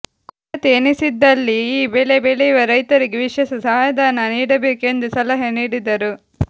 ಕೊರತೆ ಎನ್ನಿಸಿದಲ್ಲಿ ಈ ಬೆಳೆ ಬೆಳೆಯುವ ರೈತರಿಗೆ ವಿಶೇಷ ಸಹಾಯಧನ ನೀಡಬೇಕು ಎಂದು ಸಲಹೆ ನೀಡಿದರು